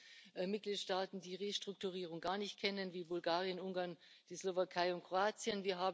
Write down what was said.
Wir haben Mitgliedstaaten, die Restrukturierung gar nicht kennen, wie Bulgarien, Ungarn, die Slowakei und Kroatien.